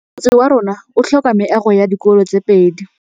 Motse warona o tlhoka meago ya dikolô tse pedi.